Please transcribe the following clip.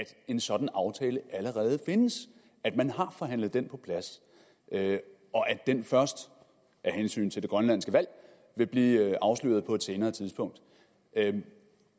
en sådan aftale allerede findes at man har forhandlet den på plads og at den først af hensyn til det grønlandske valg vil blive afsløret på et senere tidspunkt